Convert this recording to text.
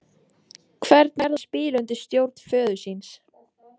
Hvernig er það að spila undir stjórn föður síns?